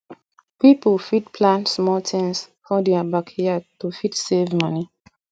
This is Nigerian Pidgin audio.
pipo fit plant small things for their backyard to fit save money